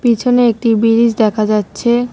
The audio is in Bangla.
পিছনে একটি বিরিজ দেখা যাচ্ছে।